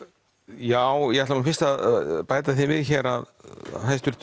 já ég ætla nú fyrst að bæta því við hér að